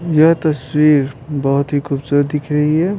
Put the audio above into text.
यह तस्वीर बहुत ही खूबसूरत दिख रही है।